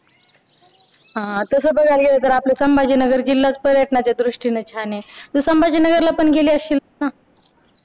हा तास बघायला गेलं तर संभाजीनगर आपला जिल्हाच पर्यटनाच्या दृष्टीनं छान आहे तू संभाजीनगर ला पण गेली अशीलच ना